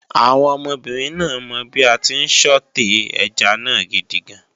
Àwọn ọmọbìnrin náà mọ bí a tí ń Sọ̀té ẹja náà gidigan